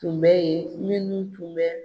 Tun bɛ yen minnu tun bɛ.